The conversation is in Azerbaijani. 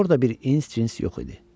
Orda bir ins cins yox idi.